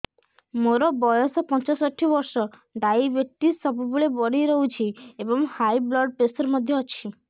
ମୋର ବୟସ ପଞ୍ଚଷଠି ବର୍ଷ ଡାଏବେଟିସ ସବୁବେଳେ ବଢି ରହୁଛି ଏବଂ ହାଇ ବ୍ଲଡ଼ ପ୍ରେସର ମଧ୍ୟ ଅଛି